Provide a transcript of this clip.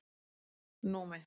Númi